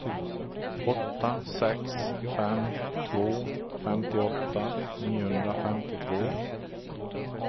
åtta sex fem två femtioåtta niohundrafemtiotvå